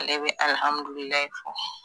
Ale be alihamidulilayi fɔ